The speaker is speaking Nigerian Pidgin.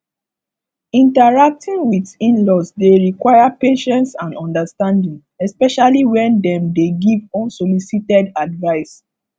interacting with inlaws dey require patience and understanding especially when dem dey give unsolicited advice